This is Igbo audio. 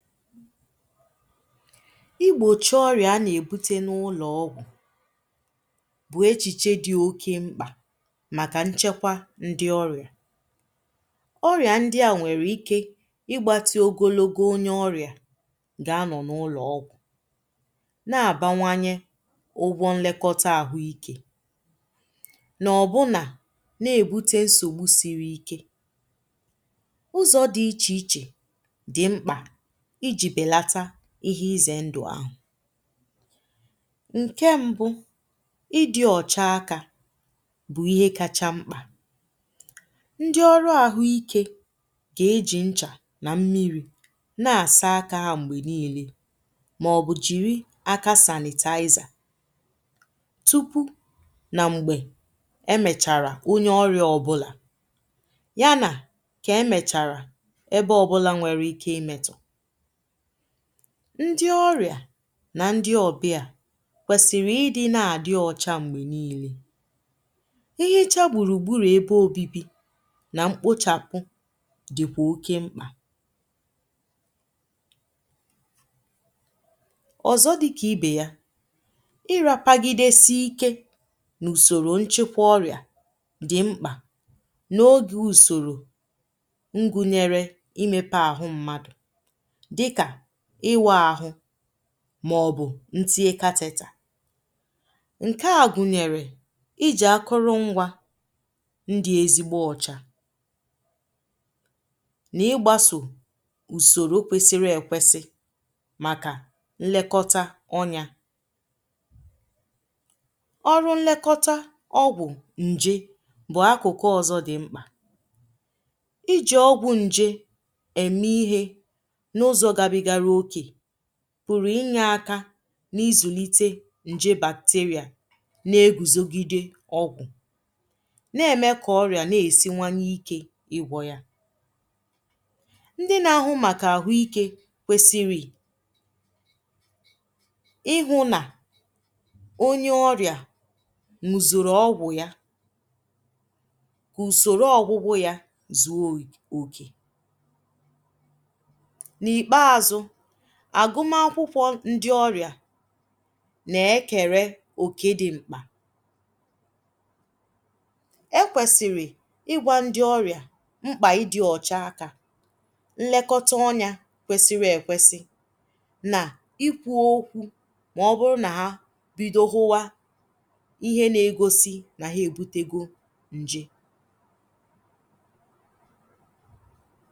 Igbochì ọrịà a na-ebutè n’ụlọ̀ ọgwụ̀ bụ̀ echichè dị̀ okè m̄kpà màkà nchekwà ndị̀ ọrụ̀ ọrịà ndị̀ à nwerè ike igbattiè ogologo onyè ọrịà gà-anọ̀ n’ụlọ̀ ọgwụ̀ na-abawanyè ụgwụ̀ nlekòtà ahụ̀ ike n’ọbụnà na-ebutè nsogbù sirì ike ụzọ̀ dị̀ iche ichè dị̀ m̄kpà ijì belàtà ihe izè ndụ̀ ahụ̀ nkè mbụ̀ ịdị̀ ọchà aka bụ̀ ihe kachà m̄kpà ndị̀ ọrụ̀ ahụ̀ ike kà ejì nchà nà mmiri na-asà aka hà m̄gbè niilè maọ̀bụ̀ jirì aka sanitizer tupu nà m̄gbè emècharà onyè ọrịà ọbụlà yà nà nkè emècharà ebe ọbụ̀là nwerè ike imètọ̀ ndị̀ ọrịà nà ndị̀ ọbịà kwesirì ị na-adị̀ ọchà m̄gbè niilè ihichà gburùgburù ebe obibi nà m̄kpochapù dị̀kwà okè m̄kpà ọzọ̀ dịkà ibe yà irapagidè n’usorò nchekwà ọrịà dị̀ m̄kpà n’’ogè usorò ngùnyerè imèpè ahụ̀ mmadụ̀ dịkà ịwụ̀ ahụ̀ maọ̀bụ̀ ntinyè katịtà nke à gụ̀nyerè ijì akụ̀rụ̀ ngwà ndị̀ ezigbò ọchà n’igbasò usorò kwesirì ekwesì màkà nlekotà ọnyà ọrụ̀ nlekòtà ọgwụ̀ njè bụ̀ akụ̀kụ̀ ọzọ̀ dị̀ m̄kpà ijì ọgwụ̀ njè emè ihe n’ụzọ̀ gabigarà okè p̣ụrụ̀ inyè aka n’izùlitè njè bacteria n’egùzogidè ọgwụ̀ na-emè kà ọrịà na-esiwanyè ike igwọ̀ yà ndị̀ na-ahụ̀ màkà ahụ̀ ike kwesirì ị hụ̀ nà onyè ọrịà n̄uzurù ọgwụ̀ yà usorò ọgwụ̀gwọ̀ yà zuò okè o n’ikpeazụ̀ agụ̀mà akwụ̀kwọ̀ ndị̀ ọrịà na-ekerè okè dị̀ m̄kpà ekwesir̀ ịgwà ndị̀ ọrịà m̄kpà ịdị̀ ọchà aka nlekòtà ọnyà kwesirì ekwesì nà ikwù okwù maọ̀bụ̀rụ̀ nà hà bidò hụwà ihe na-egosì nà hà ebutegò njè